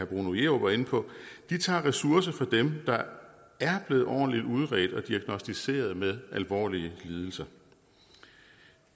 bruno jerup var inde på tager ressourcer fra dem der er blevet ordentligt udredt og diagnosticeret med alvorlige lidelser